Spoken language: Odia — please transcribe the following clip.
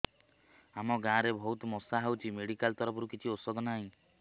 ଆମ ଗାଁ ରେ ବହୁତ ମଶା ହଉଚି ମେଡିକାଲ ତରଫରୁ କିଛି ଔଷଧ ନାହିଁ